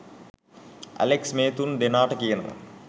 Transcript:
Alex මේ තුන් දෙනාට කියනවා